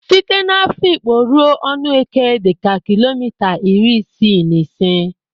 Site n'Afịkpo ruo Ọnụeke dịka kilomita iri isii na ise.